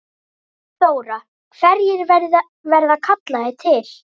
Þóra: Hverjir verða kallaðir til?